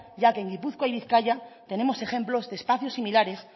ya que en gipuzkoa y bizkaia tenemos ejemplos de espacios similares